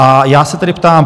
A já se tedy ptám.